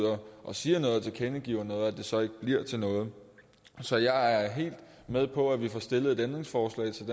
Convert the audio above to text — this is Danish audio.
og siger noget og tilkendegiver noget så ikke bliver til noget så jeg er helt med på at vi får stillet et ændringsforslag til